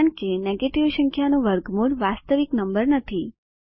કારણ નેગેટિવ સંખ્યાનું વર્ગમૂળ વાસ્તવિક નંબર નથી